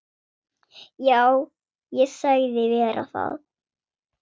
Já, ég sagðist vera það.